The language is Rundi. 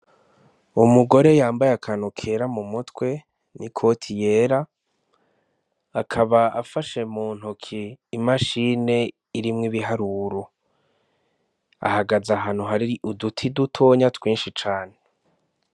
Umugore yambaye akantu kera mu mutwe n'ikoti yera, akaba afashe mu ntoke imashine irimwo ibiharuro. Ahagaze ahantu hari uduti dutonya twinshi cane.